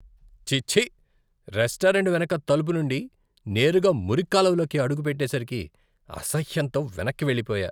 ఛీఛీ! Restaurant వెనక తలుపు నుండి నేరుగా మురిక్కాలువలోకి అడుగు పెట్టేసరికి అసహ్యంతో వెనక్కి వెళ్లిపోయా.